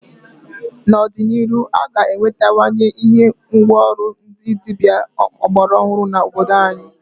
N'ọdị n'iru a ga enwetawanye ihe ngwa ọrụ ndị dịbịa ọgbara ọhụrụ n'obodo anyị.